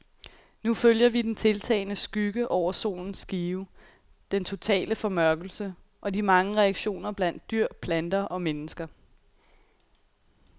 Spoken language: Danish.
Nu følger vi den tiltagende skygge over solens skive, den totale formørkelse, og de mange reaktioner blandt dyr, planter og mennesker.